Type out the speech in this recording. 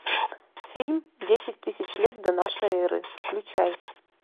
фильм десять тысяч лет до нашей эры включай